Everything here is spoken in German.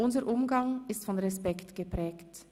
Unser Umgang ist von Respekt geprägt.